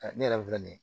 Ne yɛrɛ filɛ nin ye